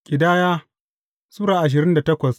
Ƙidaya Sura ashirin da takwas